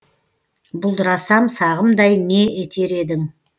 бұлдырасам сағымдай не етер едің